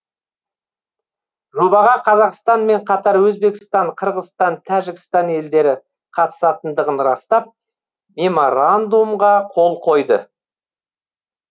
жобаға қазақстанмен қатар өзбекстан қырғызстан тәжікстан елдері қатысатындығын растап меморандумға қол қойды